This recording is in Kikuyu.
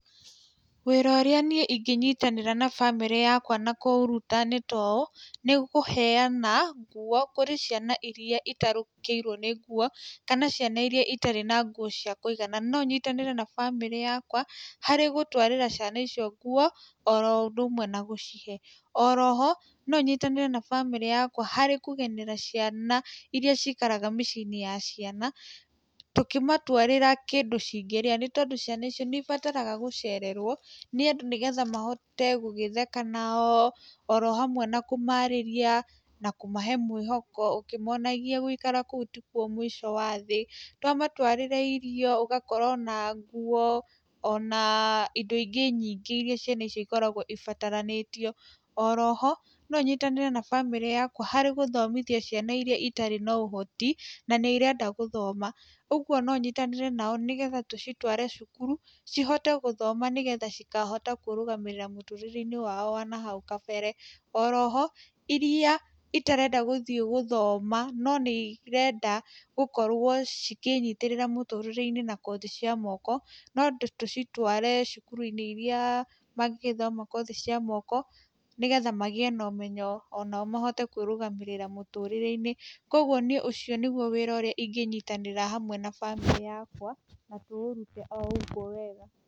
Wĩra ũrĩa niĩ ingĩnyitanĩra na bamĩrĩ yakwa na kũũruta nĩ toũ, nĩ kũheyana nguo kũrĩ ciana iria itarũkĩirwo nĩ nguo, kana ciana iria itarĩ na nguo cia kũigana, no nyitanĩre na bamĩrĩ yakwa harĩ gũtwarĩra ciana icio nguo, oro ũndũ ũmwe na gũcihe, oroho no nyitanĩre na bamĩrĩ yakwa harĩ kũgenera ciana iria cikaraga mĩciĩ-inĩ ya ciana, tũkĩmatwarĩra kĩndũ cingĩria, nĩ tondũ ciana icio nĩ ibataraga gũcererwo, nĩ andũ nĩ getha mahote gũgĩtheka nao, orohamwe na kũmarĩria, na kũmahe mwĩhoko, ũkĩmonagia gũikara kũu tĩkuo mũico wa thĩ, twamatwarĩra irio ũgakora ona nguo, ona indo ingĩ nyingĩ iria ciana icio ikoragwo ibataranĩtio, oroho no nyitanĩre na bamĩrĩ yakwa gũthomithia ciana iria itarĩ na ũhoti, na nĩ irenda gũthoma, ũguo no nyitanĩre nao, nĩ getha tũcitware cukuru, cihote gũthoma nĩ getha cikahota kwĩrũgamĩrĩra mũtũrĩre-inĩ wao wanahau kabere, oroho iria itarenda gũthiĩ gũthoma, no nĩ irenda gũkorwo cikĩnyitĩrĩra mũtũrĩre-inĩ na kothi cia moko, no ndĩ tũcitware cukuru-inĩ iria mangĩgithoma kothi cia moko, nĩ getha magĩe na ũmenyo onao mahote kwĩrũgamĩrĩra mũtũrĩre-inĩ, koguo niĩ ũcio nĩguo wĩra ũrĩa ingĩnyitanĩra hamwe na bamĩrĩ yakwa, na tũũrute o ũguo wega.